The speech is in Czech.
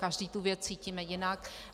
Každý tu věc cítíme jinak.